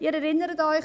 Sie erinnern sich: